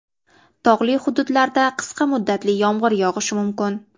Tog‘li hududlarida qisqa muddatli yomg‘ir yog‘ishi mumkin.